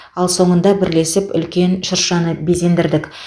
ал соңында бірлесіп үлкен шыршаны безендірдік